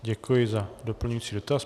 Děkuji za doplňující dotaz.